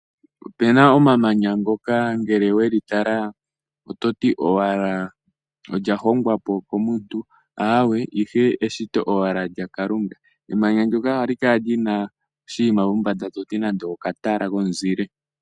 Ope na omamanya ngoka ngele weli tala ototi owala lyahongwa po komuntu aawe ihe eshito owala lya Kalunga. Emanya ndika ohali kala lina oshinima kombanda toti olya hongwa po komuntu aawe ihe eshito owala lya Kalunga. Emanya ndika ohali kala lina oshinima mombanda toti nande okatala komuzile.